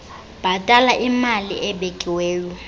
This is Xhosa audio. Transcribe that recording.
bhatala imali ebekiweyo